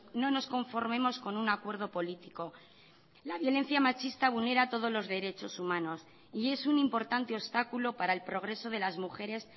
no nos conformemos con un acuerdo político la violencia machista vulnera todos los derechos humanos y es un importante obstáculo para el progreso de las mujeres